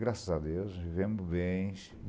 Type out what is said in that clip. Graças a Deus, vivemos bem.